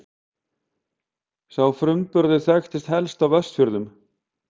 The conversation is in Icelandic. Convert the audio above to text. Sá framburður þekktist helst á Vestfjörðum.